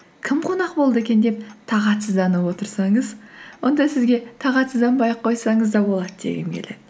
кім қонақ болды екен деп тағатсызданып отырсаңыз онда сізге тағатсызданбай ақ қойсаңыз да болады дегім келеді